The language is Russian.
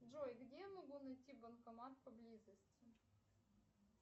джой где я могу найти банкомат поблизости